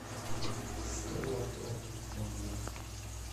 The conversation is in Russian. столото отзывы